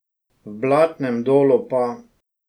V Blatnem dolu pa ...